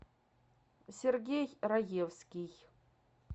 сергей раевский